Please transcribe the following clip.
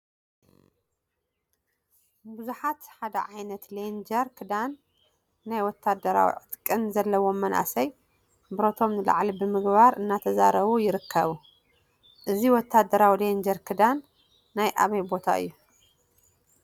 ቡዙሓት ሓደ ዓይነት ሌንጀር ክዳንን ናይ ወታደራዊ ዕጥቂን ዘለዎም መናእሰይ ብረቶም ንላዕሊ ብምግባር እናተዛረቡ ይርከቡ፡፡ እዚ ወታደራዊ ሌንጀር ክዳን ናይ አበይ ቦታ እዩ?